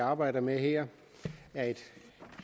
arbejder med her er et